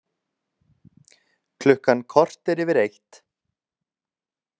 Klukkan korter yfir eitt